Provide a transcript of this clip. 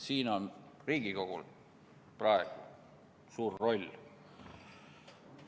Siin on Riigikogul praegu suur roll.